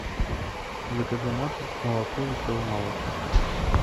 закажи на дом молоко веселый молочник